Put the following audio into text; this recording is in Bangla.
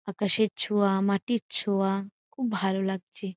আকাশের ছোয়া মাটির ছোয়া খুব ভালো লাগছে।